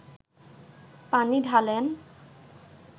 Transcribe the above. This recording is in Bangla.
পানি ঢালেন